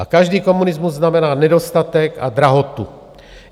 A každý komunismus znamená nedostatek a drahotu.